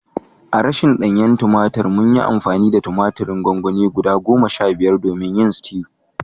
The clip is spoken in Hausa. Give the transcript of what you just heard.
Idan babu sabo tumatur mun gudanar da gwangwani goma sha biyar na tumatir manna don stew